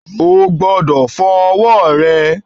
O gbodò fo owó re